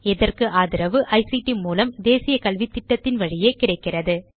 இதற்கு ஆதரவு ஐசிடி மூலம் தேசிய கல்வித்திட்டத்தின் வழியே கிடைக்கிறது